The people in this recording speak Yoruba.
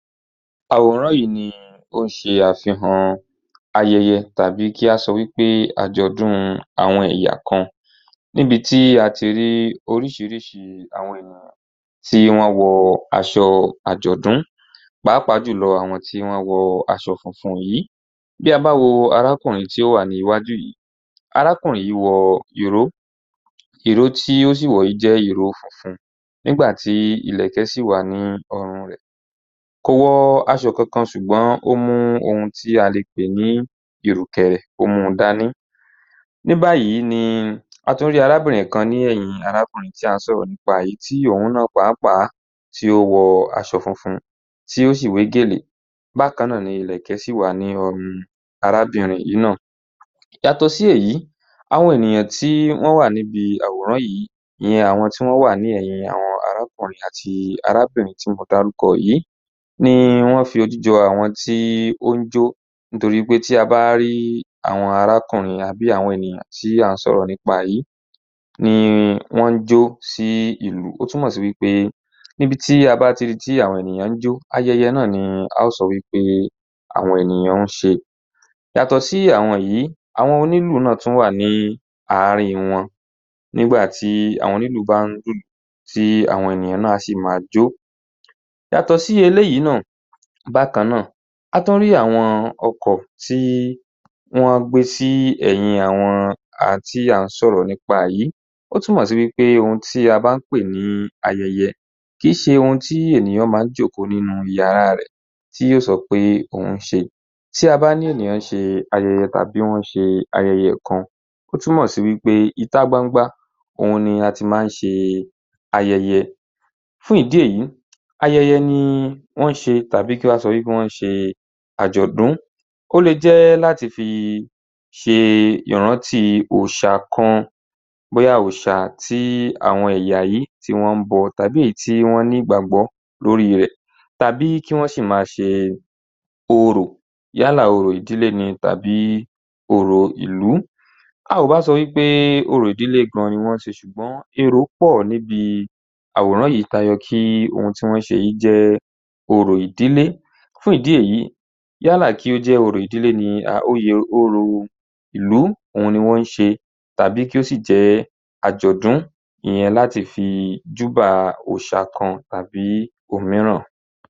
Àwòrán yìí ni ó ń ṣe àfihàn ayẹyẹ à bí kí a sọ wí pé àjọ̀dún àwọn ẹ̀yà kan níbi tí a ti rí oríṣiríṣi àwọn ènìyàn tí wọ́n wọ aṣọ àjọ̀dún, pàápàá jùlọ àwọn tí wọ́n wọ aṣọ funfun yìí. Bí a bá wo arákùnrin tí ó wà ní iwájú yìí, arákùnrin yìí wọ ìró, ìró tí ó sì wọ̀ yí jẹ́ ìró funfun nígbà tí ìlẹ̀kẹ̀ sì wà ní ọrùn rẹ̀. Kò wọ aṣọ kankan ṣùgbọ́n ó mú ohun tí a lè pè ní ìrùkẹ̀rẹ̀, ó mu dá ní. Ní báyìí ni a tún rí arábìnrin kan ní ẹ̀yìn arákùnrin yìí tí à ń sọ̀rọ̀ nípa rẹ̀ yí, tí òun náà pàápàá tí ó wọ aṣọ funfun tí ó sì wé gèlè, bákan náà ni ìlẹ̀kẹ̀ sì wà ní ọrùn arábìnrin yìí náà. Yàtọ̀ sí èyí, àwọn ènìyàn tí wọ́n wà níbi àwòrán yìí, ìyẹn àwọn tí wọ́n wà ní ẹ̀yìn arákùnrin àti arábìnrin tí mo dárúkọ yìí ni wọ́n fi ojú jọ àwọn tí ó ń jó torí pé tí a bá rí àwọn arákùnrin àbí àwọn ènìyàn tí à ń sọ̀rọ̀ nípa rẹ̀ yí ni wọ́n ń jó sí ìlù. Ó túmọ̀ sí pé níbi tí a bá ti rí wí pé àwọn ènìyàn ń jó, ayẹyẹ náà ni a ó sọ wí pé àwọn ènìyàn ń ṣe. Yàtọ̀ sí àwọn yìí, àwọn onílù náà tún wà ní àárín wọn, nígbà tí àwọn onílù bá ń lu ìlù tí àwọn ènìyàn náà a sì má a jó. Yàtọ̀ sí eléyìí náà bákan náà, a tún rí àwọn ọkọ̀ tí wọ́n gbé sí ẹ̀yin àwọn tí à ń sọ̀rọ̀ nípa yìí, ó túmọ̀ sí wí pé ohun tí a bá pè ní ayẹyẹ, kì í ṣe ohun tí ènìyàn má ń jókòó nínú yàrá rẹ̀ tí yóò sọ pé òún ṣe. Tí a bá ní ènìyàn ń ṣe ayẹyẹ kan tàbí wọ́n ṣe ayẹyẹ kan,ó túmọ̀ sí wí pé ìta gbangba òhun ni a tín má ń ṣe ayẹyẹ. Fún ìdí èyí, ayẹyẹ ni wọ́n ń ṣe tàbí kí á sọ wí pé wọ́n ṣe àjọ̀dún. Ó le jẹ́ láti fi ṣe ìrántí òòṣà kan, bóyá òòṣà tí àwọn ẹ̀yà yí tí wọ́n bọ tàbí èyí tí wọ́n ní ìgbàgbọ́ lórí rẹ̀ tàbí kí wọ́n sì ma ṣe orò yálà orò ìdílé ni tàbí orò ìlú. A ò bá sọ wí pé orò ìdílé gan ni wọ́n ń ṣe ṣùgbọ́n èrò pọ̀ nínú àwòrán yìí ta yọ kí ohun tí wọ́n ṣe yìí jẹ́ orò ìdílé. Fún ìdí èyí, yálà kí ó jẹ́ orò ìlú òhun ni wọ́n ṣe tàbí kí ó sì jẹ́ àjọ̀dún ìyẹn láti fi júbà òòṣà kan tàbí òmíràn.